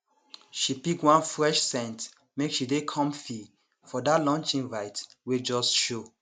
she pick one fresh scent make she dey comfy for that lunch invite wey just show